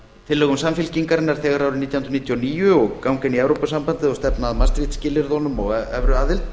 tillögum samfylkingarinnar þegar árið nítján hundruð níutíu og níu og ganga inn í evrópusambandið og stefna að maastricht skilyrðunum og evruaðild